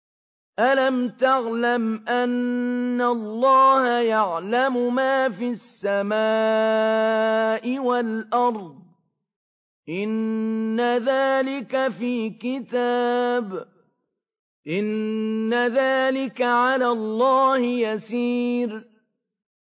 أَلَمْ تَعْلَمْ أَنَّ اللَّهَ يَعْلَمُ مَا فِي السَّمَاءِ وَالْأَرْضِ ۗ إِنَّ ذَٰلِكَ فِي كِتَابٍ ۚ إِنَّ ذَٰلِكَ عَلَى اللَّهِ يَسِيرٌ